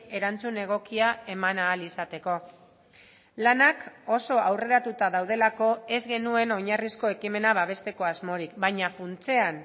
erantzun egokia eman ahal izateko lanak oso aurreratuta daudelako ez genuen oinarrizko ekimena babesteko asmorik baina funtsean